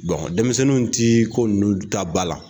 denmisɛnninw tɛ ko ninnu ta ba la